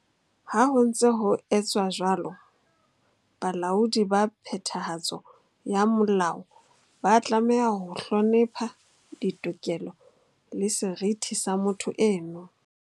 Ha ho ntse ho etswa jwalo, balaodi ba phethahatso ya molao ba tlameha ho hlonepha ditokelo le seriti sa motho eno.